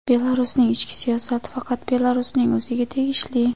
Belarusning ichki siyosati faqat Belarusning o‘ziga tegishli.